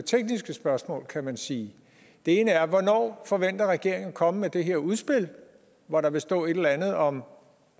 tekniske spørgsmål kan man sige det ene er hvornår forventer regeringen at komme med det her udspil hvor der vil stå et eller andet om